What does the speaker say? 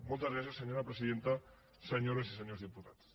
moltes gràcies senyora presidenta senyores i senyors diputats